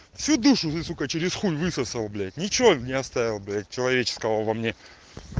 сидишь уже сукко через хуй высосал блять ничего не оставил блять человеческого во мне